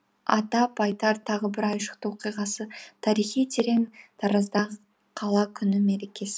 атап айтар тағы бір айшықты оқиғасы тарихы терең тараздағы қала күні мерекесі